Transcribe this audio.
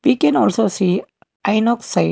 we can also see inox sign.